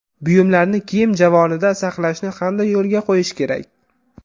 Buyumlarni kiyim javonida saqlashni qanday yo‘lga qo‘yish kerak?